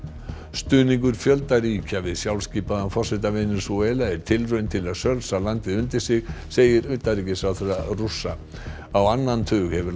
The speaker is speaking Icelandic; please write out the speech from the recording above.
stuðningur fjölda ríkja við sjálfskipaðan forseta Venesúela er tilraun til að sölsa landið undir sig segir utanríkisráðherra Rússa á annan tug hefur